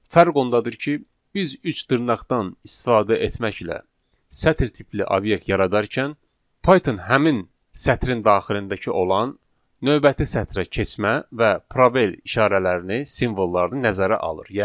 Fərq ondadır ki, biz üç dırnaqdan istifadə etməklə sətir tipli obyekt yaradarkən Python həmin sətrin daxilindəki olan növbəti sətrə keçmə və probel işarələrini, simvollarını nəzərə alır.